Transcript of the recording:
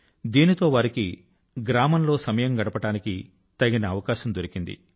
దీంతో వారికి గ్రామం లో సమయం గడపడానికి తగిన అవకాశం దొరికింది